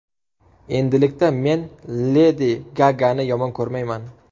Endilikda men Ledi Gagani yomon ko‘rmayman.